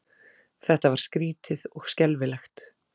Þetta var skrýtið og skelfilegt.